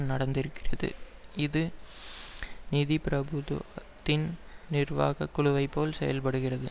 நடந்திருக்கிறது இது நிதி பிரபுத்துவத்தின் நிர்வாக குழுவைப் போல் செயல்படுகிறது